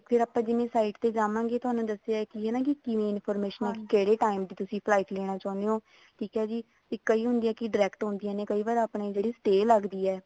ਫ਼ੇਰ ਆਪਾਂ ਜਿਵੇਂ site ਤੇ ਜਾਵਾਂਗੇ ਥੋਨੂੰ ਦੱਸਿਆ ਕੇ ਹਨਾ ਕੇ ਕਿਵੇਂ information ਕਿਹੜੇ time ਚ ਤੁਸੀਂ flight ਲੈਣਾ ਚਾਹੁੰਦੇ ਹੋ ਠੀਕ ਹੈ ਜੀ ਕਈ ਹੁੰਦੀਆਂ ਕੇ direct ਹੁੰਦੀਆਂ ਨੇ ਤੇ ਕਈ ਵਾਰ ਆਪਣੀ stay ਲੱਗਦੀ ਹੈ